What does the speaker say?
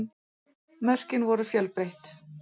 Mörkin voru fjölbreytt